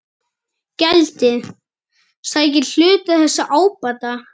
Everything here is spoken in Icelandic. Gjaldið sæki hluta þess ábata.